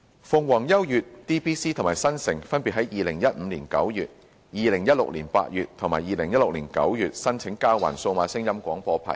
鳳凰優悅、DBC 及新城分別在2015年9月、2016年8月及2016年9月申請交還數碼廣播牌照。